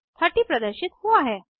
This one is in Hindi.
30 प्रदर्शित हुआ है